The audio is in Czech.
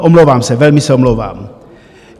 Omlouvám se, velmi se omlouvám.